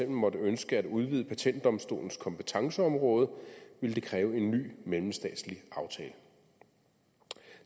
måtte ønske at udvide patentdomstolens kompetenceområde ville det kræve en ny mellemstatslig aftale